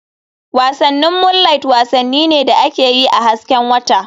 Wasannin Moonliht wasanni ne da ake yi a hasken wata/